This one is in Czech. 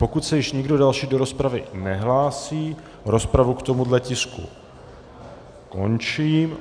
Pokud se již nikdo další do rozpravy nehlásí, rozpravu k tomuhle tisku končím.